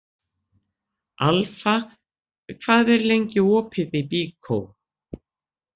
Alfa, hvað er lengi opið í Byko?